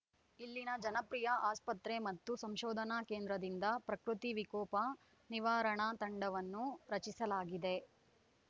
ಇಲ್ಲಿನ ಜನಪ್ರಿಯ ಆಸ್ಪತ್ರೆ ಮತ್ತು ಸಂಶೋಧನಾ ಕೇಂದ್ರದಿಂದ ಪ್ರಕೃತಿ ವಿಕೋಪ ನಿವಾರಣಾ ತಂಡವನ್ನು ರಚಿಸಲಾಗಿದೆ